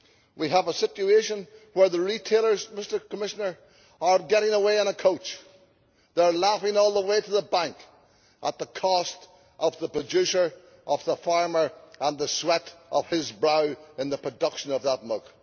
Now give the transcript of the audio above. We have a situation where the retailers, Mr Commissioner, are getting away on a coach. They are laughing all the way to the bank at the cost of the producer, of the farmer and the sweat of his brow in the production of that milk.